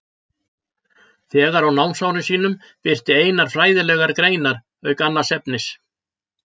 Þegar á námsárum sínum birti Einar fræðilegar greinar auk annars efnis.